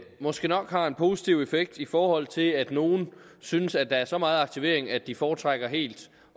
måske nok har en positiv effekt i forhold til at nogle synes at der er så meget aktivering at de foretrækker helt